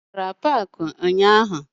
Ị gara paakị ụnyaahụ?